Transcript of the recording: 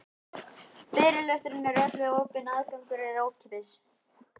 Fyrirlesturinn er öllum opinn og aðgangur er ókeypis.